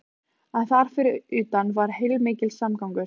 En þar fyrir utan var heilmikill samgangur.